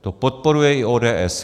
- To podporuje i ODS.